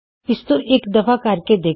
ਇਸਨੂੰ ਇੱਕ ਦਫਾ ਕਰਕੇ ਦੇਖੋ